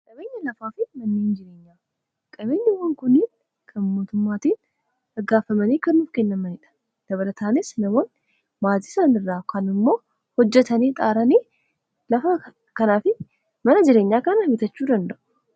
Qabeenyawwan kunniin kan mootummaadhaan beekamtii argatanii (ykn galmeeffamanii) kiraaf kennamaniidha. Dabalataanis, namoonni maatii isaanii irraa dhaalun ykn hojjetanii xaaranii lafa kanaa fi mana jireenyaa kana bitachuu danda'u.